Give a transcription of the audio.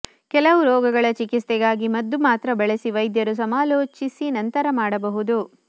ಕೆಲವು ರೋಗಗಳ ಚಿಕಿತ್ಸೆಗಾಗಿ ಮದ್ದು ಮಾತ್ರ ಬಳಸಿ ವೈದ್ಯರು ಸಮಾಲೋಚಿಸಿ ನಂತರ ಮಾಡಬಹುದು